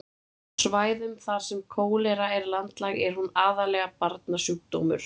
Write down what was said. Á svæðum þar sem kólera er landlæg er hún aðallega barnasjúkdómur.